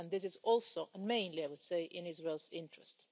This is also mainly, I would say, in Israel's interest.